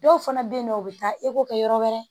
Dɔw fana bɛ yen nɔ o bɛ taa kɛ yɔrɔ wɛrɛ